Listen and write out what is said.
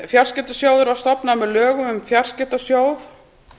fjarskiptasjóður var stofnaður með lögum um fjarskiptasjóð